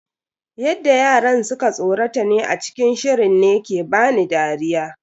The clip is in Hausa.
Yadda yaran suka tsorata ne a cikin shirin ne ke bani dariya.